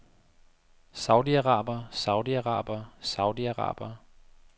saudiarabere saudiarabere saudiarabere